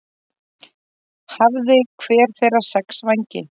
Hafði hver þeirra sex vængi.